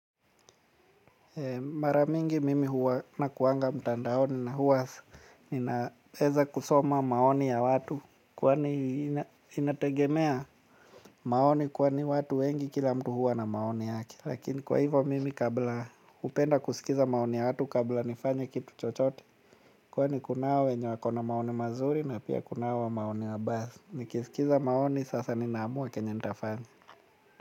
Maramingi mimi huwana kuwanga mtandaoni na huwa ninaweza kusoma maoni ya watu. Kwani inategemea maoni kwani watu wengi kila mtu huwa na maoni yake. Lakini kwa hivyo mimi kabla hupenda kusikiza maoni ya watu kabla nifanye kitu chochote. Kwani kunao wenye wakona maono mazuri na pia kunao wa maono mabaya. Nikisikiza maoni sasa ninaamua kenye nitafanya.